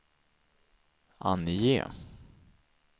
ange